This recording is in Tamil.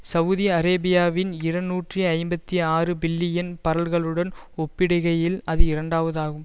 சவுதி அரேபியாவின் இருநூற்றி ஐம்பத்தி ஆறு பில்லியன் பரல்களுடன் ஒப்பிடுகையில் அது இரண்டாவதாகும்